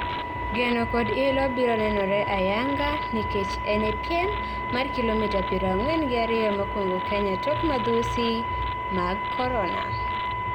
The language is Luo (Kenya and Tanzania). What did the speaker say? Geno kod ilo biro nenore ayanga nikech ene piem mar kilomita piero ang'wen gi ariyo mokuongo Kenya tok madhusi mag Corona.